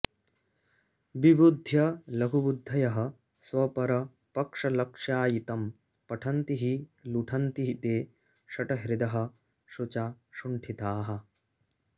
विबुध्य लघुबुद्धयः स्वपरपक्षलक्ष्यायितं पठन्ति हि लुठन्ति ते शठहृदः शुचा शुण्ठिताः